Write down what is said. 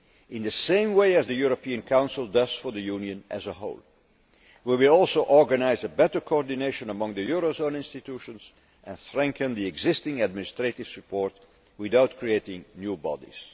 In the same way as the European Council does for the Union as a whole, we will also organise a better coordination among the eurozone institutions and strengthen the existing administrative support without creating new bodies.